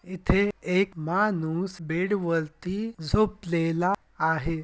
इथे एक माणूस बेड वरती झोपलेला आहे.